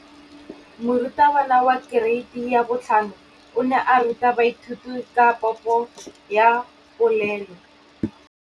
Moratabana wa kereiti ya 5 o ne a ruta baithuti ka popô ya polelô.